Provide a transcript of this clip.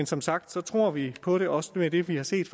som sagt tror vi på det også med det vi har set